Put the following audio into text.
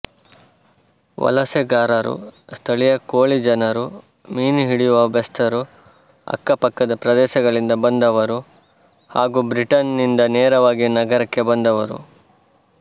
ವಲಸೆಗಾರರು ಸ್ಥಳೀಯ ಕೋಳಿಜನರು ಮೀನುಹಿಡಿಯುವ ಬೆಸ್ತರು ಅಕ್ಕಪಕ್ಕದ ಪ್ರದೇಶಗಳಿಂದ ಬಂದವರು ಹಾಗೂ ಬ್ರಿಟನ್ ನಿಂದನೇರವಾಗಿ ನಗರಕ್ಕೆ ಬಂದವರು